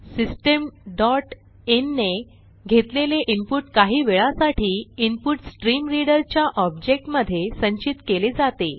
system dot in ने घेतलेले input काही वेळासाठी इन्पुटस्ट्रीमरीडर च्या ऑब्जेक्ट मधे संचित केले जाते